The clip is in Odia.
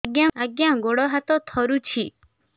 ଆଜ୍ଞା ଗୋଡ଼ ହାତ ଥରୁଛି